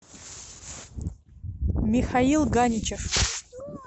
михаил ганичев